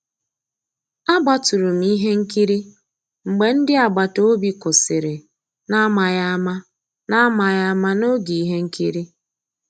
Àgbátụ̀rụ̀ m ihe nkírí mgbé ndị́ àgbàtà òbí kwụ́sị́rí n'àmàghị́ àmá n'àmàghị́ àmá n'ògé íhé nkírí.